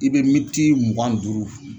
I bɛ minti mugan ni duuru